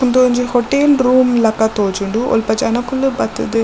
ಉಂದೊಂಜಿ hotel room ಲಕ ತೋಜುಂಡು ಒಲ್ಪ ಜನಕುಲು ಬತ್ತುದು --